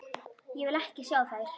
Ég vil ekki sjá þær.